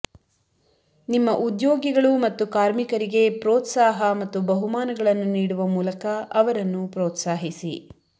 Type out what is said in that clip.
ನಿಮ್ಮ ಉದ್ಯೋಗಿಗಳು ಮತ್ತು ಕಾರ್ಮಿಕರಿಗೆ ಪ್ರೋತ್ಸಾಹ ಮತ್ತು ಬಹುಮಾನಗಳನ್ನು ನೀಡುವ ಮೂಲಕ ಅವರನ್ನು ಪ್ರೋತ್ಸಾಹಿಸಿ